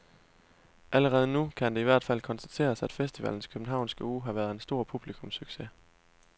Allerede nu kan det i hvert fald konstateres, at festivalens københavnske uge har været en stor publikumssucces.